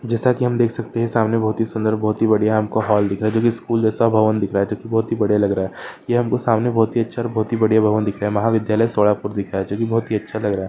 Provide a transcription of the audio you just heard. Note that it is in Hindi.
जैसा की हम देख सकते है सामने बहुत ही सुंदर बहुत ही बड़िया हमको हॉल दिख रहा है जो की स्कूल जैसा भवन दिख रहा जो की बहुत ही बड़िया लग रहा है यह हमको सामने बहुत ही अच्छा और बहुत ही बड़िया भवन दिख रहा महाविद्यालय सोलापुर दिख रहा है जो की बहुत ही अच्छा लग रहा है।